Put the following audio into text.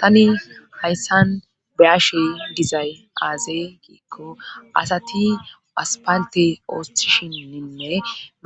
tani hayssan beyashe dizay aaze giikko asati aspalte ooththishinninne